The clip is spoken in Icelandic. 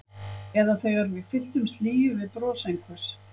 Eða þegar við fyllumst hlýju við bros einhvers.